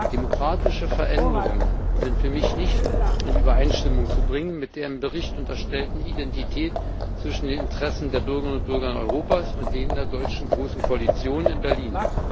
Demokratische Veränderungen sind für mich nicht in Übereinstimmung zu bringen mit der im Bericht unterstellten Identität zwischen den Interessen der Bürgerinnen und Bürger Europas und denen der deutschen großen Koalition in Berlin.